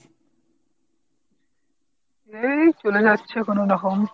এই চলে যাচ্ছে কোনো রকম।